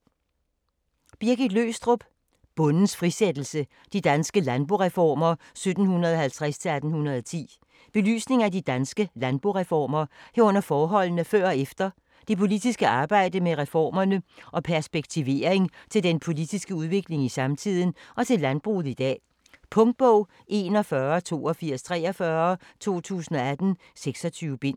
Løgstrup, Birgit: Bondens frisættelse: de danske landboreformer 1750-1810 Belysning af de danske landboreformer, herunder forholdene før og efter, det politiske arbejde med reformerne og perspektivering til den politiske udvikling i samtiden og til landbruget i dag. Punktbog 418243 2018. 26 bind.